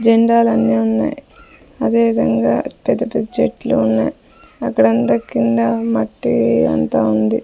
జెండాలన్నీ ఉన్నాయ్ అదేవిధంగా పెద్ద పెద్ద చెట్లు ఉన్నాయ్ అక్కడంతా కింద మట్టి అంతా ఉంది.